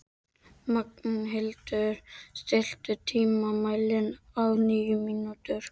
Magnhildur, stilltu tímamælinn á níu mínútur.